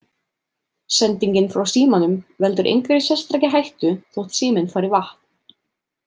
Sendingin frá símanum veldur engri sérstakri hættu þó síminn fari í vatn.